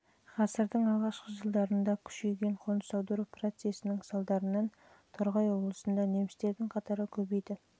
ғасырдың алғашқы жылдарында күшейген қоныс аудару процестерінің салдарынан торғай облысында немістердің қатары көбейді